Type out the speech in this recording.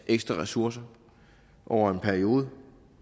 ekstra ressourcer over en periode